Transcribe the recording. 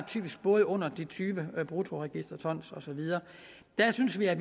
både under tyve bruttoregisterton og så videre der synes vi at